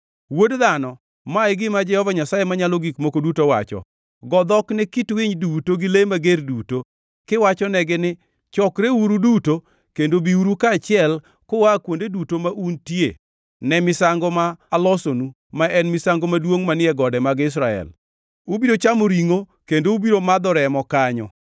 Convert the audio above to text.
“Wuod dhano, ma e gima Jehova Nyasaye Manyalo Gik Moko Duto wacho: Go dhok ne kit winy duto gi le mager duto, kiwachonegi ni, ‘Chokreuru duto kendo biuru kaachiel, kua kuonde duto ma untie, ne misango ma alosonu ma en misango maduongʼ manie gode mag Israel. Ubiro chamo ringʼo kendo ubiro madho remo kanyo.